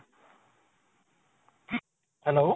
hello